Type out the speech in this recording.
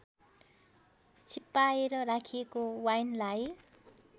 छिप्पाएर राखिएको वाइनलाई